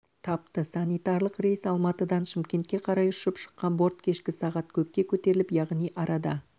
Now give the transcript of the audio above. тапты санитарлық рейс алматыдан шымкентке қарай ұшып шыққан борт кешкі сағат көкке көтеріліп яғни арада